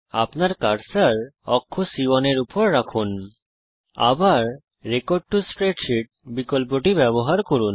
আপনার কার্সার কক্ষসেলC1 এর উপর রাখুন আবার রেকর্ড টো স্প্রেডশীট বিকল্পটি ব্যবহার করুন